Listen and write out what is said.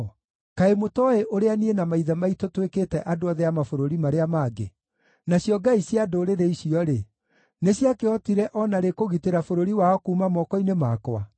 “Kaĩ mũtooĩ ũrĩa niĩ na maithe maitũ twĩkĩte andũ othe a mabũrũri marĩa mangĩ? Nacio ngai cia ndũrĩrĩ icio-rĩ, nĩciakĩhotire o na rĩ kũgitĩra bũrũri wao kuuma moko-inĩ makwa?